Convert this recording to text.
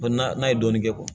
N'a ye dɔɔnin kɛ